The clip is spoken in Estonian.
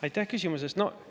Aitäh küsimuse eest!